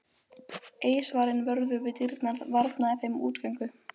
Eiðsvarinn vörður við dyrnar varnaði þeim útgöngu.